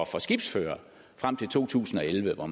for skibsførere frem til to tusind og elleve hvor